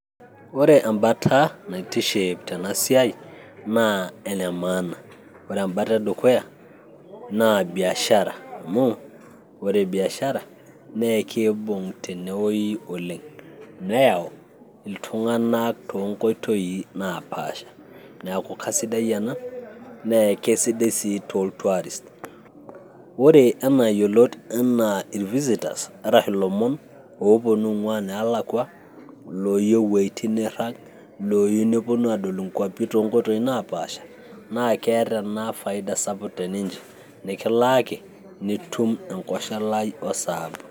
ore embata naitiship tena siai naa ene maana ore embata e dukuya naa biashara amu ore biashara naa ekiibung tenewoi oleng ,neyau iltung'anak toonkoitoi naapasha neeku kasidai ena nee ekesidai sii tol tourist, ore enaayiolot enaa ir visitors arashu ilomon ooponu ing'uaa neelakua looyieu iwoitin niirag, looyieu neponu adol inkuapi toonkoitoi napaasha naa keeta ena faida sapuk teninche nikilaaki nitum enkosholai o saabu.